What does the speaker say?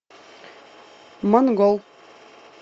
монгол